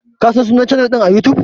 Ka /kin San sunnan chanal din à YouTube?